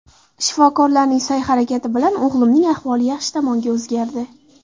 Shifokorlarning sa’y-harakati bilan o‘g‘limning ahvoli yaxshi tomonga o‘zgardi.